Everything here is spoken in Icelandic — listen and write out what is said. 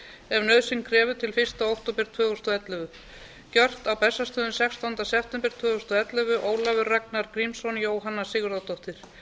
ef nauðsyn krefur til fyrsta október tvö þúsund og ellefu gjört í reykjavík sextánda september tvö þúsund og ellefu ólafur ragnar grímsson jóhanna sigurðardóttir